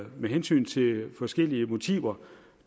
med hensyn til forskellige motiver